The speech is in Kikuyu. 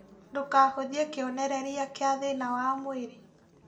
Ndũkahũthie kĩonererĩa kĩa thĩna wa mwĩrĩ